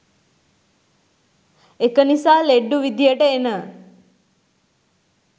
එක නිසා ලෙඩ්ඩු විදියට එන